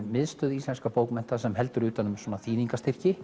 miðstöð íslenskra bókmennta sem heldur utan um svona